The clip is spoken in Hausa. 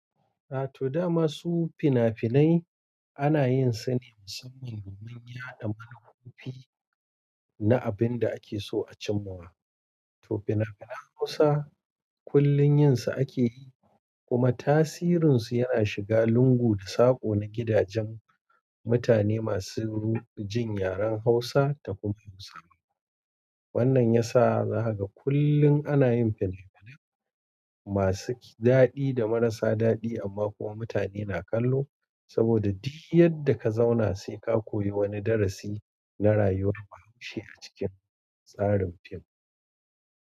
A to da masu fina-finai ana yin su ne musamman domin yaɗa manufofi na abin da ake so a cimma. To fina-finan Hausa kullum yin su ake yi kuma tasirin su yana shiga lungu da sako na gidajen mutane masu jin yaren Hausa da kuma Musulmi. Wannan ya sa haka kullum ana yin fina-finai masu daɗi da marasa daɗi amma kuma mutane na kallo saboda duk yadda ka zauna sai ka koyi wani darasi na rayuwar bahaushe a cikin tsarin fim.